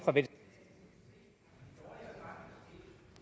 der